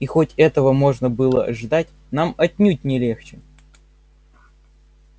и хоть этого можно было ожидать нам отнюдь не легче